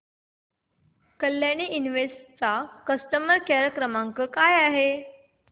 Kalyani invest चा customer care क्रमांक काय आहे